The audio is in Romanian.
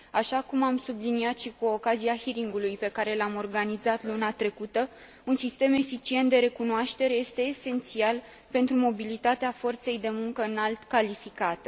Așa cum am subliniat și cu ocazia audierii pe care am organizat o luna trecută, un sistem eficient de recunoaștere este esențial pentru mobilitatea forței de muncă înalt calificată.